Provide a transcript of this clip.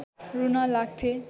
रुन लाग्थे